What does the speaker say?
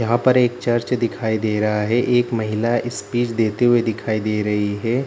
यहाँ पर एक चर्च दिखाई दे रहा है एक महिला स्पीच देते हुए दिखाई दे रही है।